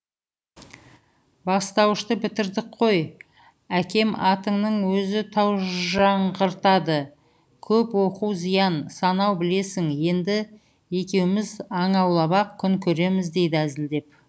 бастауышты бітірдік қой әкем атыңның өзі таужаңғыртады көп оқу зиян санау білесің енді екеуміз аң аулап ақ күн көреміз дейді әзілдеп